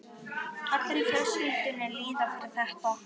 Allir í fjölskyldunni líða fyrir þetta.